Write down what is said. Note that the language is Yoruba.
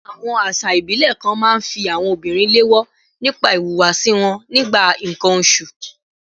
Àwọn àṣà ìbílẹ̀ kan máa ń fi àwọn obìnrin léèwọ̀ nípa ìhùwàsí wọn nígbà nǹkan oṣù